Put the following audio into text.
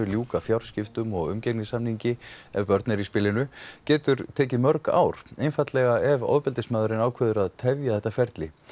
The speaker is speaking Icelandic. ljúka fjárskiptum og umgengnissamningi ef börn eru í spilinu getur tekið mörg ár einfaldlega ef ofbeldismaðurinn ákveður að tefja ferlið